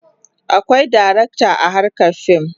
Akwai darakta a harkar fim.